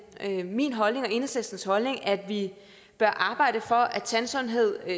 det min holdning og enhedslistens holdning at vi bør arbejde for at tandsundhed i